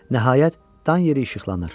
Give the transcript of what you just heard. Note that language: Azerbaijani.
Nəhayət, Dan yeri işıqlanır.